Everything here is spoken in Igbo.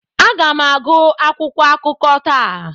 Aga m agụ akwụkwọ akụkọ taa.